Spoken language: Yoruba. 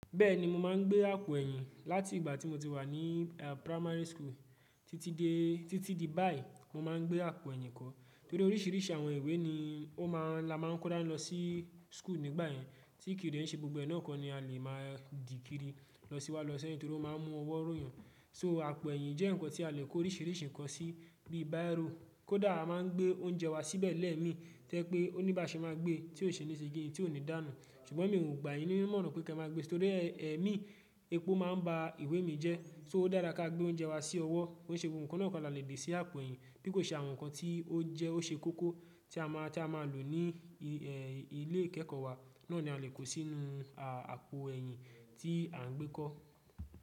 Bẹ́ẹ̀ni, mo máa ń gbé àpò ẹ̀yìn láti ìgbà tí mo ti wà ní primary school títí di báyìí. Mo ma ń gbé àpò ẹ̀yìn kọ́ torí oríṣìíríṣìí àwọn ìwé ni la máa ń kó dá lọ sí school nígbà yẹn tí kì í de ṣe gbogbo ẹnà kọ́ ni a lè máa dìkíri lọ sí wá lọ sẹ́yìn torí ó máa ń mú ọwọ́ ròyàn. So àpò ẹ̀yìn jẹ́ ǹkan tí a lè kó oríṣìíríṣìí ǹkan sí bíi bírò, kó dàá máa ń gbé oúnjẹ wa síbẹ̀ lẹ́ẹ̀mi tẹ́ pé oníbàáṣẹ máa gbé tí ó ṣe ni se kini? Tí ò ní dànù. Ṣùgbọ́n mi ò gbayin ni imoran pé kí ẹ máa gbé si torí ẹmí epo máa ń ba ìwé mi jẹ́ so ó dára kí a gbé oúnjẹ wa sí ọwọ́. Ko ṣe é gbogbo ǹkan náà kó la lè gbe sí àpò ẹ̀yìn bí kò ṣe àwọn nǹkan tí ó jẹ́ ó ṣe kókó tí a máa lò ní ilé ìkẹ́kọ̀ọ́ wa náà ni a lè kó sínú àpò ẹ̀yìn tí à ń gbé kọ́.